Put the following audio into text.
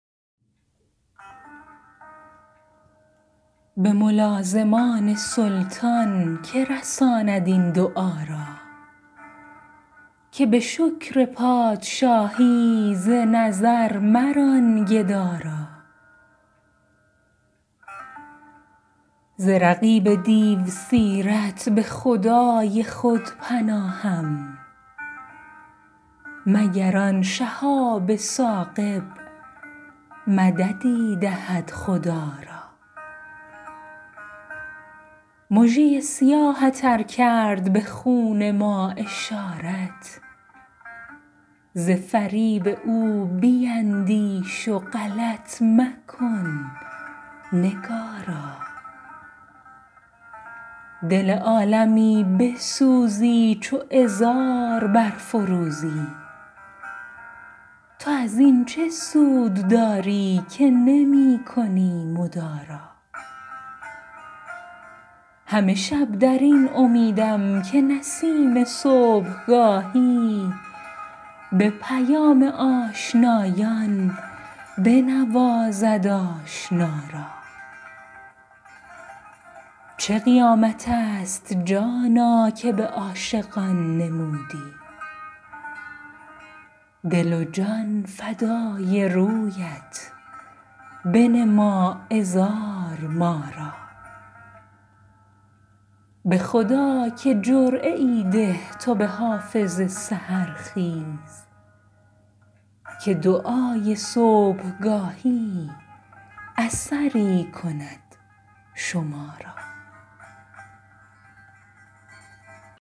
به ملازمان سلطان که رساند این دعا را که به شکر پادشاهی ز نظر مران گدا را ز رقیب دیوسیرت به خدای خود پناهم مگر آن شهاب ثاقب مددی دهد خدا را مژه ی سیاهت ار کرد به خون ما اشارت ز فریب او بیندیش و غلط مکن نگارا دل عالمی بسوزی چو عذار برفروزی تو از این چه سود داری که نمی کنی مدارا همه شب در این امیدم که نسیم صبحگاهی به پیام آشنایان بنوازد آشنا را چه قیامت است جانا که به عاشقان نمودی دل و جان فدای رویت بنما عذار ما را به خدا که جرعه ای ده تو به حافظ سحرخیز که دعای صبحگاهی اثری کند شما را